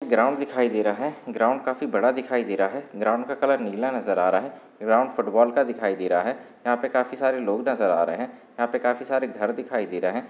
Ground दिखाई दे रहा है ग्राउन्ड काफी बड़ा दिखाई दे रहा है ग्राउन्ड का कलर नीला नजर आ रहा है ग्राउन्ड फुटबॉल का दिखाई दे रहा है यहा पे काफी सारे लोग नजर आ रहे है यहा पे काफी सारे घर दिखाई दे रहे है।